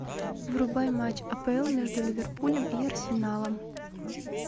врубай матч апл между ливерпулем и арсеналом